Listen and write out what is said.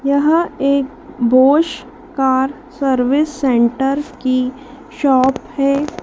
यहां एक Bush car service centre की शॉप है।